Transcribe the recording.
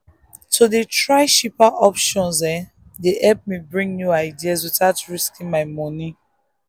to dey try cheaper options dey help me bring new ideas without risking my money.